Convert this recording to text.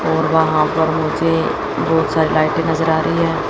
और वहां पर मुझे बहुत सारी लाइटें नजर आ रही है।